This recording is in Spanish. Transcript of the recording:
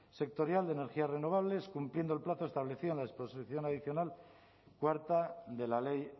sectorial de energías renovables cumpliendo el plazo establecido en la disposición adicional cuarta de la ley